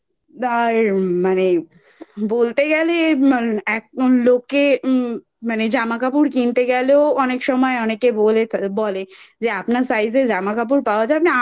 আর মানে বলতে গেলে আর মান লোকে উম মানে জামাকাপড় কিন্ত গেলেও অনেক সময় অনেকে বোলে বলে যে আপনার Size এর জামাকাপড় পাওয়া যাবে